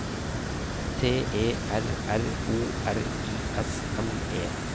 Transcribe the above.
T E R R O R I S M E